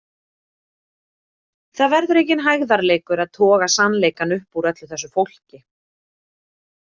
Það verður enginn hægðarleikur að toga sannleikann upp úr öllu þessu fólki.